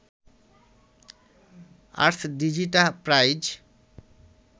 ArsDigita prize